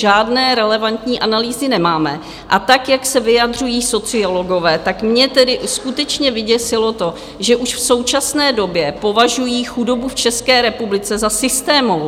Žádné relevantní analýzy nemáme a tak, jak se vyjadřují sociologové, tak mě tedy skutečně vyděsilo to, že už v současné době považují chudobu v České republice za systémovou.